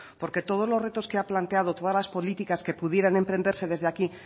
porque todos los retos que ha planteado todas las políticas que pudieran emprenderse desde aquí